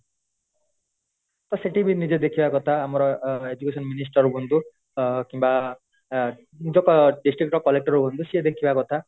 ଟା ସେଠି ବି ନିଜେ ଦେଖିବା କଥା ଆମର education minister ହୁଅନ୍ତୁ କିମ୍ବା ଯୋଉ district ର collector ହୁଅନ୍ତୁ ସେ ଦେଖିବା କଥା